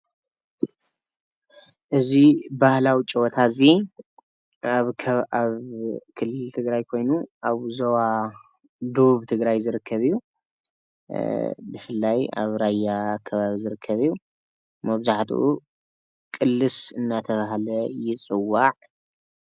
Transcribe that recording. እዚ ባህላዊ ጨወታ እዙይ ኣብ ክልል ትግራይ ኮይኑ ዞባ ደቡብ ዝርከብ እዬ ብፍላይ ኣብ ራያ ከባቢ ዝርከብ እዪ መብዛሕቲኡ ቅልስ እናተብሃለ ይፅዋዕ።